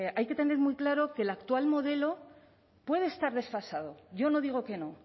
hay que tener muy claro que el actual modelo puede estar desfasado yo no digo que no